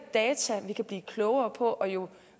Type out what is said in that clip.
data vi kan blive klogere på og jo